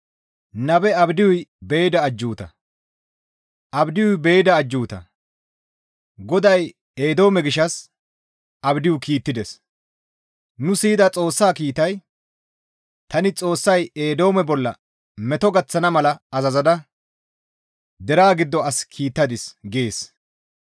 Abdiyuy be7ida ajjuuta; GODAY Eedoome gishshas Abdiyu kiittides; nu siyida Xoossa kiitay, «Tani Xoossay Eedoome bolla meto gaththana mala azazada deraa giddo as kiittadis» gees.